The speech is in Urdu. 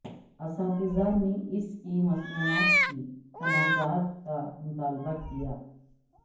اساتذہ نے اس کی مصنوعات کی تنازعات کا مطالبہ کیا